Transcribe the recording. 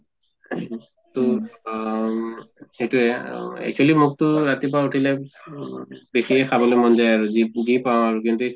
তʼ আম সেইটোয়ে অহ actually মোকতো ৰাতিপুৱা উঠিলে উম বেছিকে খাবলৈ মন যায় আৰু যি যি পাওঁ আৰু কিন্তু